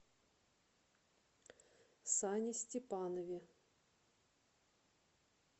сане степанове